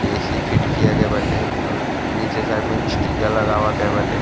ए.सी fit किया गए बाटे अउर नीचे साइड में स्टीकर लगावा गए बाटे।